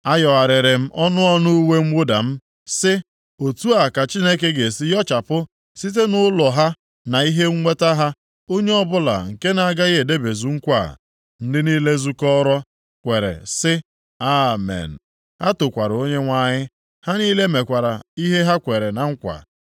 Ayọgharịrị m ọnụ ọnụ uwe mwụda m sị, “Otu a ka Chineke ga-esi yọchapụ site nʼụlọ ha na ihe nweta ha onye ọbụla nke na-agaghị edebezu nkwa a.” Ndị niile zukọrọ kwere sị, “Amen.” Ha tokwara Onyenwe anyị: Ha niile mekwara ihe ha kwere na nkwa.